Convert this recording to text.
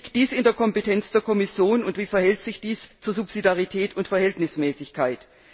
Liegt dies in der Kompetenz der Kommission, und wie verhält sich dies zu Subsidarität und Verhältnismäßigkeit?